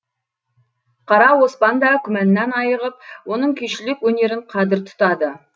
қара оспан да күмәннан айығып оның күйшілік өнерін қадір тұтады